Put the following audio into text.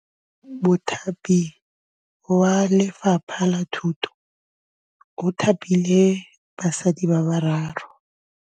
Mothapi wa Lefapha la Thutô o thapile basadi ba ba raro.